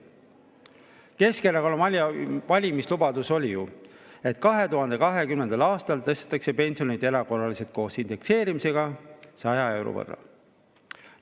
Keskerakonna valimislubadus oli ju, et 2020. aastal tõstetakse pensione erakorraliselt koos indekseerimisega 100 euro võrra.